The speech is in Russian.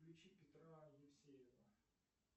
включи петра евсеева